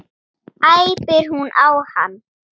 æpir hún á hann.